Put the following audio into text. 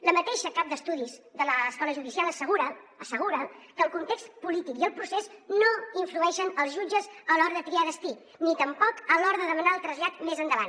la mateixa cap d’estudis de l’escola judicial assegura assegura que el context polític i el procés no influeixen els jutges a l’hora de triar destí ni tampoc a l’hora de demanar el trasllat més endavant